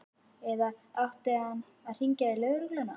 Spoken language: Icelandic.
Eða átti hann að hringja í lögregluna?